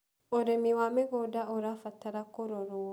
ũrĩmi wa mĩgũnda ũrabatara kũrorwo